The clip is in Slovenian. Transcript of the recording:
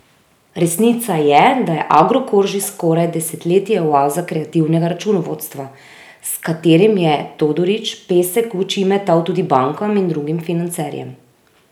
Resnica je, da je Agrokor že skoraj desetletje oaza kreativnega računovodstva, s katerim je Todorić pesek v oči metal tudi bankam in drugim financerjem.